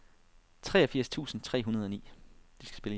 treogfirs tusind tre hundrede og ni